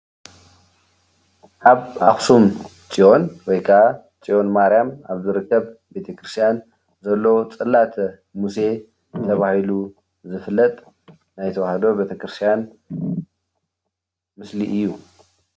ኣብ ኣክሱም ፅዮን ወይ ክዓ ፅዮን ማርያም ኣብ ዝርከብ ቤተ ክርስትያን ዘለው ፅላተ ሙሴ ተባሂሉ ዝፍለጥ ናይ ተዋህዶ ቤተ ክርስትያን ምስሊ እዩ፡፡